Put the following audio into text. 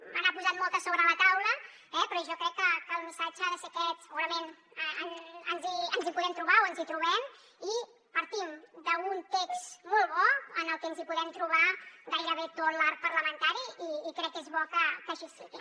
me n’ha posat moltes sobre la taula però jo crec que el missatge ha de ser aquest segurament ens hi podem trobar o ens hi trobem i partim d’un text molt bo en el que ens podem trobar gairebé tot l’arc parlamentari i crec que és bo que així sigui